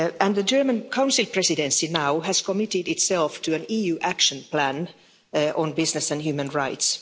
The German Council Presidency now has committed itself to an EU action plan on business and human rights.